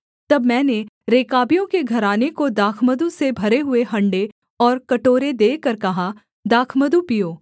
तब मैंने रेकाबियों के घराने को दाखमधु से भरे हुए हँडे और कटोरे देकर कहा दाखमधु पीओ